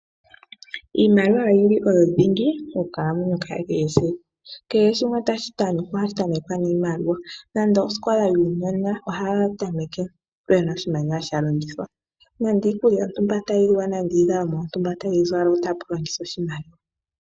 Iimaliwa oyo dhingi monkalamwenyo yetu yakehe siku, kehe shimwe tashi tamekwa ohashi tamekwa niimaliwa, nando osikola yuunona ohaya temeke puna oshimaliwa shalongithwa, nenge iikulya tayiliwa, nenge iizalomwa tayi zalwa ota pu longithwa oshimaliwa.